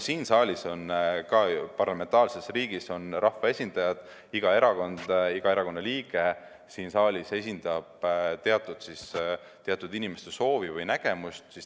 Siin saalis on parlamentaarse riigi rahvaesindajad, iga erakond, iga erakonna liige siin saalis esindab teatud inimeste soovi või nägemust.